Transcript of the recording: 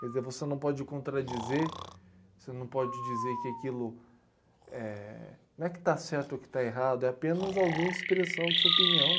Quer dizer, você não pode contradizer, você não pode dizer que aquilo eh não é que está certo ou que está errado, é apenas alguém expressando sua opinião.